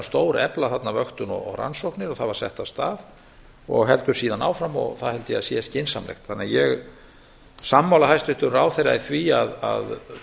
stórefla þarna vöktun og rannsóknir og það var sett af stað og heldur síðan áfram og það held ég að sé skynsamlegt ég er því sammála hæstvirtum ráðherra í því að